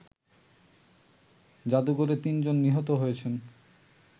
জাদুঘরে তিনজন নিহত হয়েছেন